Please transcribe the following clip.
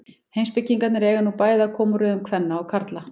Heimspekingarnir eiga nú bæði að koma úr röðum kvenna og karla.